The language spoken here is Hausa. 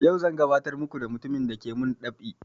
Yau zan gabatar muku da mutumin dake mun dab'i